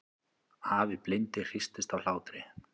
Afi blindi hristist af hlátri.